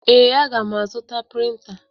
Ee, aga m azụta printa.